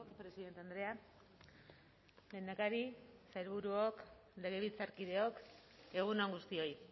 presidente andrea lehendakari sailburuok legebiltzarkideok egun on guztioi